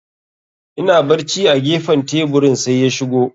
Ina barci a gefen teburin, sai ya shigo.